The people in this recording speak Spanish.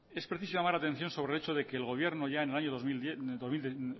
es preciso llamar la atención sobre el hecho de que el gobierno ya en el año dos mil